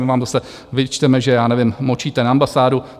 My vám zase vyčteme, že, já nevím, močíte na ambasádu.